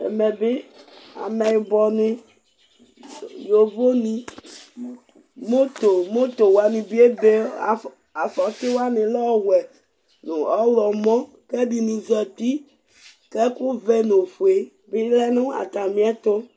Ɛmɛ bɩ ameyɩbɔnɩ, yovonɩ, mʊtʊwanɩ bɩ ebe, afɔtiwanɩ lɛ ɔwɛ nʊ ɔwlɔmɔ kʊ ɛdinɩ zeti kʊ ɛkʊvɛ nʊ ofoe bɩ lɛ nʊ atamiɛtʊ